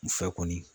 U fɛ kɔni